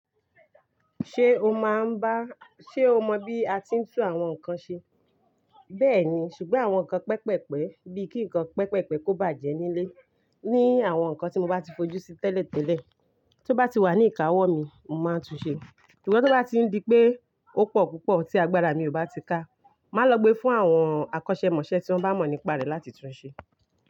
Ṣe o mọ bí a ti ń tún àwọn nǹkan ṣe? Bẹ́ẹ̀ni, ṣùgbọ́n àwọn nǹkan pẹpẹpẹ, bí i kí nǹkan pẹpẹpẹ kò bàjẹ́ nílé. Ni àwọn nǹkan tí mo bá ti fojú sí tẹ́lẹ̀tẹ́lẹ̀ tó bá ti wà ní ìkáwọ́ mi, mo máa tún ṣe. Sungbo tó bá ti ń di pé ó pọ̀ púpọ̀ tí agbára mi ò bá ti ká, màá lọ gbe fún àwọn akọ́ṣẹ́mọṣẹ́ tí wọ́n bá mọ̀ nípa rẹ̀ láti túnb ṣe.